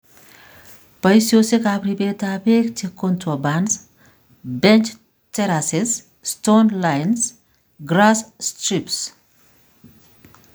Poisosyekap ribet ap peek che Contour bunds, bench terraces, stone lines, grass strips.